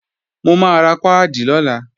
Mò máa ra páàdì lọ́la